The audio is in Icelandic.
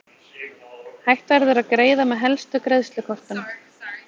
Hægt verður að greiða með helstu greiðslukortum.